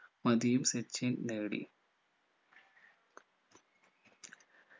മതിയും സച്ചിൻ നേടി